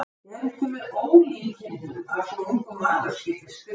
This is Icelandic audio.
Er ekki með ólíkindum að svo ungur maður skyldi skrifa þetta?